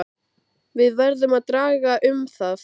Við verðum að draga um það.